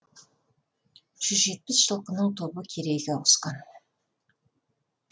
жүз жетпіс жылқының тобы керейге ауысқан